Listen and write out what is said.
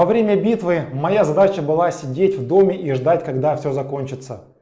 во время битвы моя задача была сидеть в доме и ждать когда всё закончится